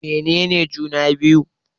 Mene ne juna-biyu?